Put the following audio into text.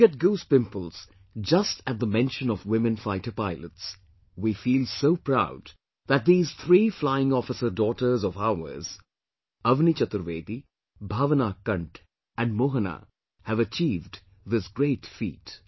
You get goose pimples just at the mention of 'women fighter pilots'; we feel so proud that these three Flying Officer daughters of ours Avni Chaturvedi, Bhawna Kanth and Mohana, have achieved this great feat